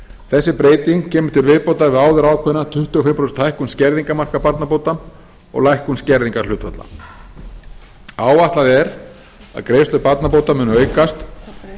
þessi breyting kemur til viðbótar við áður ákveðna tuttugu og fimm prósenta hækkun skerðingarmarka barnabóta og lækkun skerðingarhlutfalla áætlað er að greiðslur barnabóta muni aukast